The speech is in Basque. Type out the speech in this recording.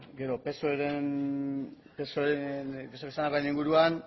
gero psoek esan duenaren inguruan